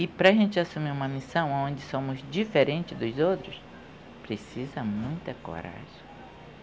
E para a gente assumir uma missão onde somos diferentes dos outros, precisa muita coragem.